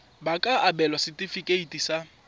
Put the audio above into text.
ba ka abelwa setefikeiti sa